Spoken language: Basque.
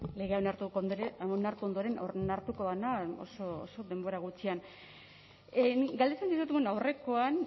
legea onartu ondoren oso oso denbora gutxian nik galdetzen nizun bueno aurrekoan